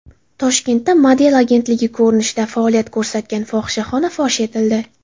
Toshkentda model agentligi ko‘rinishida faoliyat ko‘rsatgan fohishaxona fosh etildi.